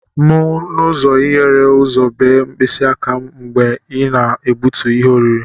M n'ụzọ hiere ụzọ bee mkpịsị aka m mgbe ị na-egbutu ihe oriri.